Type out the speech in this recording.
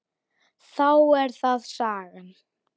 Þá er það sagan.